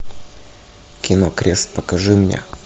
кино крест покажи мне